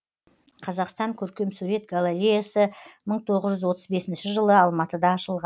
қазақстан көркемсурет галареясы мың тоғыз жүз отыз бесінші жылы алматыда ашылған